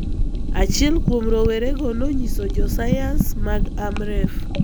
achiel kuom rowerego nonyiso jo sayans mag Amref.